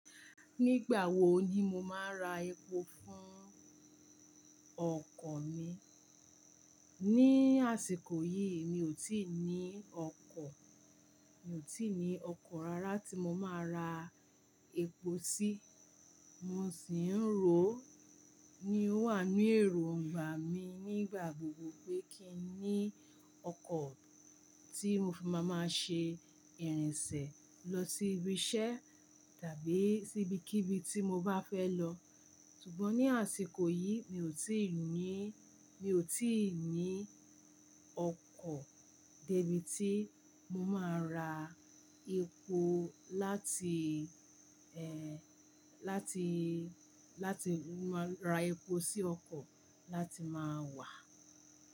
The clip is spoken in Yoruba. Nígbà wo ni mo máa ra epo fún ọkọ̀ mi? Ni àsìkò yìí mi ò tíì ní ọkọ̀. Mi ò tíì ní ọkọ̀ rárá tí mo máa ra epo sí. Mo sì ń ro ní ó wà ní ẹ̀rù ọgbà mi nígbà gbogbo pé kí ní ọkọ̀ tí mo fi máa máa ṣe ìrìnsẹ̀ lọ sí ibi iṣẹ́ tàbí sí ibikíbi tí mo bá fẹ́ lọ. Ṣùgbọ́n ní àsìkò yìí mi ò tíì ní, mi ò tíì ní ọkọ̀ débi tí mo máa ra epo láti, ẹ, láti, láti máa ra epo sí ọkọ̀ láti máa wà.